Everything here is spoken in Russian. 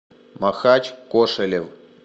махач кошелев